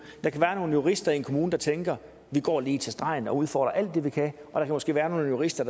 der kan være nogle jurister i en kommune der tænker vi går lige til stregen og udfordrer alt det vi kan og der kan måske være nogle jurister